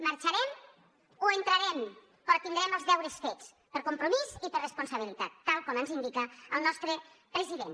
marxarem o entrarem però tindrem els deures fets per compromís i per responsabilitat tal com ens indica el nostre president